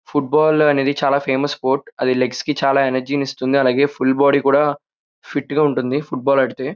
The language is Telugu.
ఫుట్బాల్ అనేది చానా ఫేమస్ స్పోర్ట్ అది లెగ్స్ కి చానా ఎనర్జీ ఇస్తుంది. అలాగే ఫుల్ బాడీ కూడా ఫిట్ గా ఉంటుంది ఫుట్బాల్ ఆడితే.